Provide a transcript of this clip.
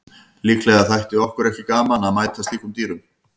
Líklega þætti okkur ekki gaman að mæta slíkum dýrum.